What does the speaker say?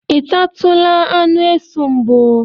I tatụla anụ esu mbụ?